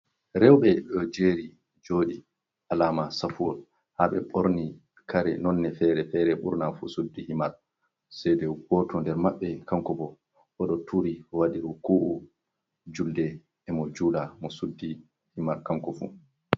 Rewɓe ɗo jeri joɗi alama safuwol ha ɓe ɓorni kare nonde fere-fere. Ɓurna fu suddi himar sei de goto nder maɓɓe. Kanko bo oɗo turi waɗi ruku’u julde e' mo jula mo suddi himar kanko fu.